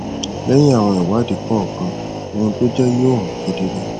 lẹyìn àwọn ìwádìí kọòkan ohun tó jẹ yoò hàn kedere